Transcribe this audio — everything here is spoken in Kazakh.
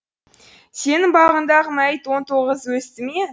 сенің бағыңдағы мәйіт он тоғыз өсті ме